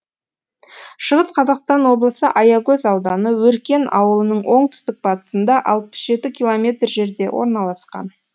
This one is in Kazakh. шығыс қазақстан облысы аягөз ауданы өркен ауылының оңтүстік батысында алпыс жеті километр жерде орналасқан